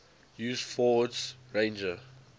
used ford's ranger